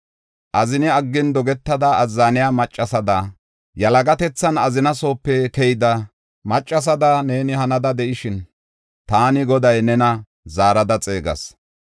Azini aggin, dogetada azzaniya maccasada, yalagatethan azina soope keyida, maccasada neeni hanada de7ishin, taani Goday nena zaarada xeegas.